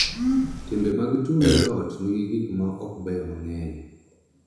Timbe mag tulo e ot nigi gik ma okbeyo mang�eny